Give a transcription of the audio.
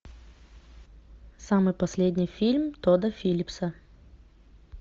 самый последний фильм тодда филлипса